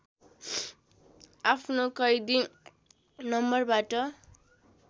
आफ्नो कैदी नम्बरबाट